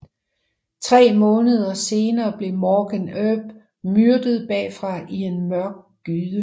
Tre måneder senere blev Morgan Earp myrdet bagfra i en mørk gyde